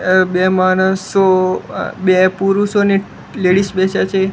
બે માણસો બે પુરુષો ને લેડીઝ બેસ્યા છે.